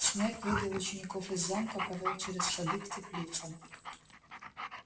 снегг вывел учеников из замка повёл через сады к теплицам